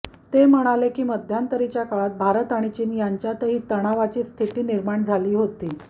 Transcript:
ते म्हणाले की मध्यंतरीच्या काळात भारत आणि चीन यांच्यातही तणावाची स्थिती निर्माण झाली होती